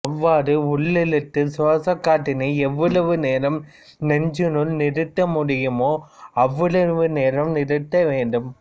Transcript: அவ்வாறு உள்ளிழுத்த சுவாசக் காற்றினை எவ்வளவு நேரம் நெஞ்சினுள் நிறுத்த முடியுமோ அவ்வளவு நேரம் நிறுத்த வேண்டும்